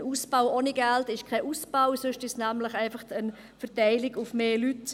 Ein Ausbau ohne Geld ist kein Ausbau, sondern nur eine Verteilung auf mehr Leute.